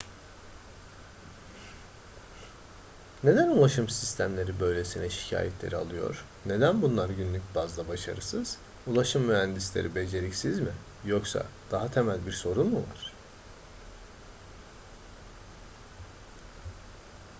neden ulaşım sistemleri böylesine şikayetleri alıyor neden bunlar günlük bazda başarısız ulaşım mühendisleri beceriksiz mi yoksa daha temel bir sorun mu var